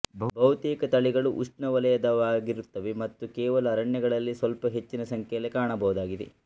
ಬಹುತೇಕ ತಳಿಗಳು ಉಷ್ಣವಲಯದವಾಗಿರುತ್ತವೆ ಮತ್ತು ಕೇವಲ ಅರಣ್ಯಗಳಲ್ಲಿ ಸ್ವಲ್ಪ ಹೆಚ್ಚಿನ ಸಂಖ್ಯೆಯಲ್ಲಿ ಕಾಣಬಹುದಾಗಿದೆ